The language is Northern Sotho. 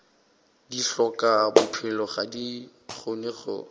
dihlokabophelo ga di kgone go